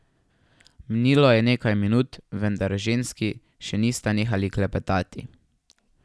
Minilo je nekaj minut, vendar ženski še nista nehali klepetati.